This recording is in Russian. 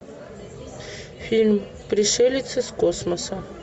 фильм пришелец из космоса